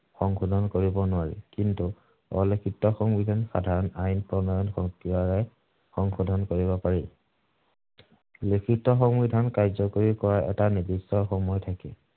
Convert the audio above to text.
সংশোধন কৰিব নোৱাৰি। কিন্তু, অলিখিত সংবিধান সাধাৰণ আইন প্ৰণয়ন প্ৰক্ৰিয়াৰে সংশোধন কৰিব পাৰি। লিখিত সংবিধান কাৰ্য্যকৰী কৰাৰ এটা নিৰ্দিষ্ট সময় থাকে।